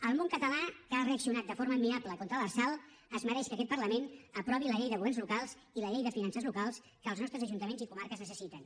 el món català que ha reaccionat de forma admirable contra l’lrsal es mereix que aquest parlament aprovi la llei de governs locals i la llei de finances locals que els nostres ajuntaments i comarques necessiten